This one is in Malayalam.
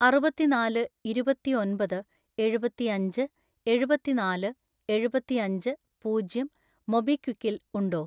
അറുപത്തിനാല് ഇരുപത്തിഒൻപത് എഴുപത്തിയഞ്ച് എഴുപത്തിനാല് എഴുപത്തിയഞ്ച് പൂജ്യം മൊബിക്വിക്കിൽ ഉണ്ടോ?